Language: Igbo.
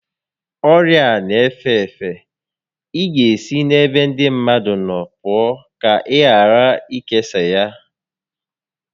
Ọrịa a n'efe efe, ị ga esi n'ebe ndị mmadụ nọ pụọ ka ị ghara ikesa ya